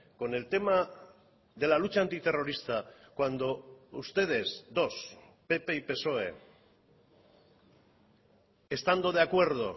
con el tema de la lucha antiterrorista cuando ustedes dos pp y psoe estando de acuerdo